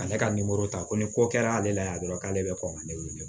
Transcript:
Ale ka ta ko ni ko kɛra ale la yan dɔrɔn k'ale bɛ kɔn ka ne wele